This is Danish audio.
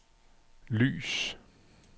lys